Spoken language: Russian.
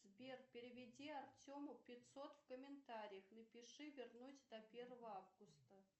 сбер переведи артему пятьсот в комментариях напиши вернуть до первого августа